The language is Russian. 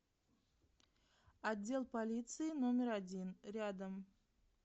отдел полиции номер один рядом